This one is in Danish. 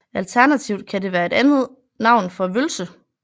Alternativt kan det være et andet navn for vølse